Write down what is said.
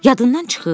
Yadından çıxıb?